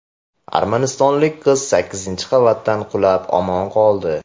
Armanistonlik qiz sakkizinchi qavatdan qulab, omon qoldi.